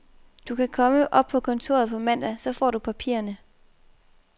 Du kan komme op på kontoret på mandag, så får du papirerne.